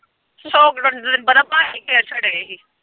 Lockdown ਚ ਤੈਨੂੰ ਪਤਾ ਬੰਟੇ ਖੇਡ ਛੱਡਦੇ ਹੀ।